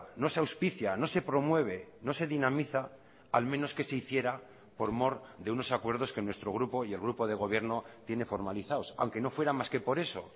no se auspicia no se promueve no se dinamiza al menos que se hiciera por mor de unos acuerdos que nuestro grupo y el grupo de gobierno tiene formalizados aunque no fuera más que por eso